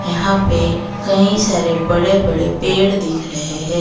यहां पे कई सारे बड़े बड़े पेड़ दिख रहे हैं।